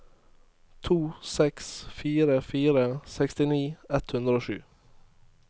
to seks fire fire sekstini ett hundre og sju